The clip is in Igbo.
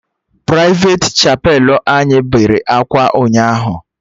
Prịfeti chapelụ anyị bere akwa ụnyaahụ